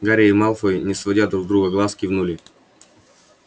гарри и малфой не сводя друг с друга глаз кивнули